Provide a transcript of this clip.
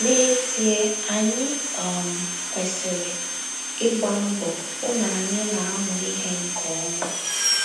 N’ezie, anyị um kwesịrị ịgba mbọ hụ na anyị na - amụ ihe nke ọma.